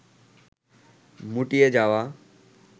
মুটিয়ে যাওয়া